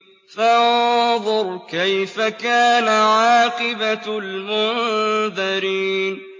فَانظُرْ كَيْفَ كَانَ عَاقِبَةُ الْمُنذَرِينَ